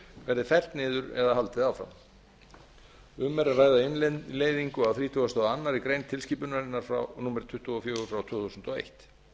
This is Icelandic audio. verði fellt niður eða haldið áfram um er að ræða innleiðingu á þrítugasta og aðra grein tilskipunarinnar númer tuttugu og fjögur tvö þúsund og eitt